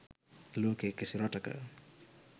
ලෝකේ කිසි රටක